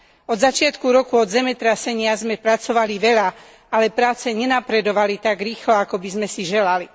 Od začiatku roku, od zemetrasenia, sme pracovali veľa, ale práce nenapredovali tak rýchlo, ako by sme si želali.